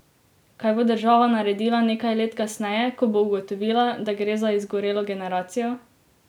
Kaj bo država naredila nekaj let kasneje, ko bo ugotovila, da gre za izgorelo generacijo?